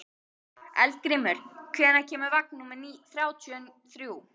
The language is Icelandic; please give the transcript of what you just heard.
Eldgrímur, hvenær kemur vagn númer þrjátíu og þrjú?